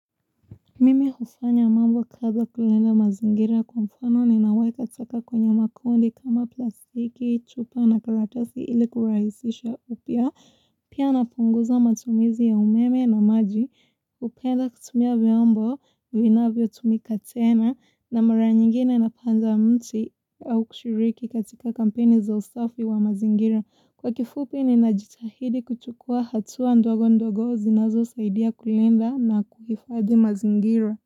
Mimi hufanya mambo kadhaa kulinda mazingira kwa mfano ninaweka taka kwenye makundi kama plastiki, chupa na karatasi ili kurahisisha upya, pia napunguza matumizi ya umeme na maji, hupenda kutumia vyombo, vinavyo tumika tena, na mara nyingine napanda mti au kushiriki katika kampeni za usafi wa mazingira. Kwa kifupi ni najitahidi kuchukuwa hatua ndogo ndogo zinazo saidia kulinda na kuhifadhi mazingira.